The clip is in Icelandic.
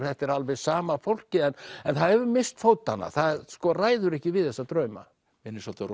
þetta er alveg sama fólkið en en það hefur misst fótanna það ræður ekki við þessa drauma minnir svolítið